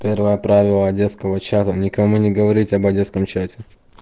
первое правило детского чада никому не говорить о детском чате